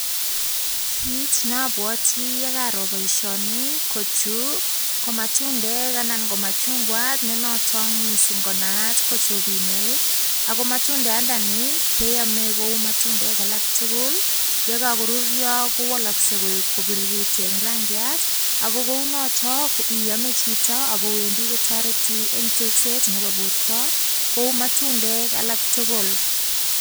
Kit nabwati yeager boishoni, ko chu ko matundek anan ko machungwat ne notok mising ko naat ko chobinek. Ako machungwandani keamei kou matundek alak tugul, yekakorurya kowalaskei kobiriritu eng rangyat ako kounotok iame chito akowendi kotareti eng rekset nebo borta kou matundek alak tugul.